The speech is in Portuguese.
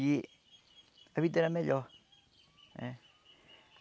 E a vida era melhor eh.